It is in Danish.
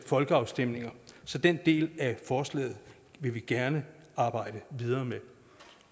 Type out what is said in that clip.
folkeafstemninger så den del af forslaget vil vi gerne arbejde videre med